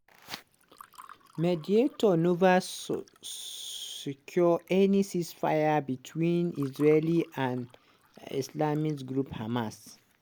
mediators neva sssecure any ceasefire between israel and islamist group hamas.